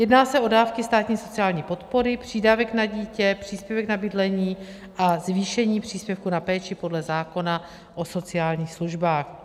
Jedná se o dávky státní sociální podpory, přídavek na dítě, příspěvek na bydlení a zvýšení příspěvku na péči podle zákona o sociálních službách.